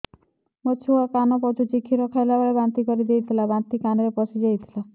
ମୋ ଛୁଆ କାନ ପଚୁଛି କ୍ଷୀର ଖାଇଲାବେଳେ ବାନ୍ତି କରି ଦେଇଥିଲା ବାନ୍ତି କାନରେ ପଶିଯାଇ ଥିଲା